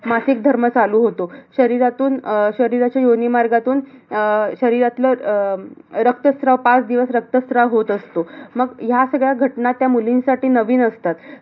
मासिक धर्म चालू होतो. शरीरातून शरीराच्या योनी मार्गातून अह शरीरातलं अह रक्तस्त्राव, पाच दिवस रक्तस्त्राव होत असतो. अह मग ह्या सगळ्या घटना त्या मुलींसाठी नवीन असतात.